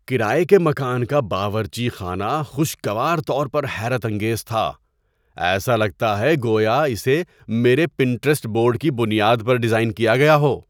کرایے کے مکان کا باورچی خانہ خوشگوار طور پر حیرت انگیز تھا – ایسا لگتا ہے گویا اسے میرے پنٹیرسٹ بورڈ کی بنیاد پر ڈیزائن کیا گیا ہو!